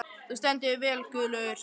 Þú stendur þig vel, Guðlaugur!